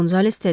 Qonzales dedi.